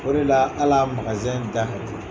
O de la ali a da ka di